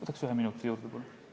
Võtaksin ühe minuti juurde, palun!